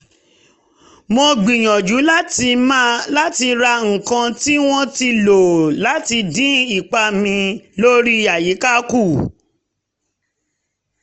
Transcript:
mo ń gbìyànjú láti ra nǹkan tí wọ́n ti lò láti dín ipa mi lórí àyíká kù